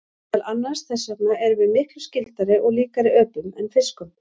Meðal annars þess vegna erum við miklu skyldari og líkari öpum en fiskum.